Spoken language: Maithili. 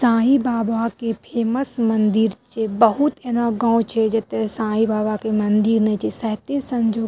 साई बाबा के फेमस मंदिर छीये बहुत एना गांव छै जेएता साई बाबा के मंदिर नै छै सायते संजोग --